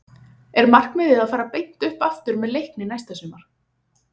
Er markmiðið að fara beint upp aftur með Leikni næsta sumar?